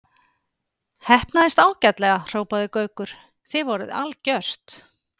Heppnaðist ágætlega hrópaði Gaukur, þið voruð algjört.